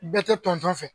Bɛɛ tɛ tonso fɛ